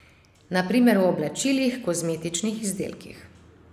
Na primer v oblačilih, kozmetičnih izdelkih ...